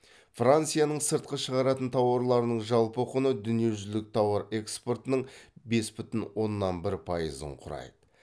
францияның сыртқа шығаратын тауарларының жалпы құны дүниежүзілік тауар экспортының бес бүтін оннан бір пайызын құрайды